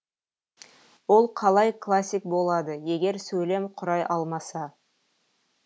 ол қалай классик болады егер сөйлем құрай алмаса